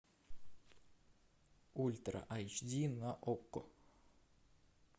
ультра айч ди на окко